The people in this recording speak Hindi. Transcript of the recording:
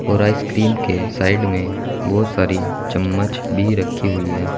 और आइसक्रीम के साइड में बहोत सारी चम्मच भी रखी हुई है।